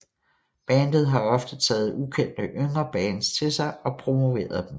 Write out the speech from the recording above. Bandet har ofte taget ukendte yngre bands til sig og promoveret dem